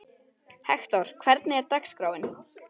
Hektor, hvernig er dagskráin?